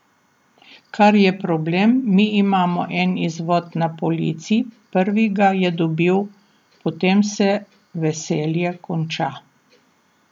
Kar je problem, mi imamo en izvod na polici, prvi ga je dobil, potem se veselje konča.